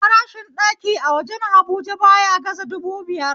Farashin ɗaki a wajen habuja baya gaza dubu biyar